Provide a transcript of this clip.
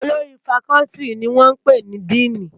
Ólórì fákòlìtí ni wòn pé ni dìní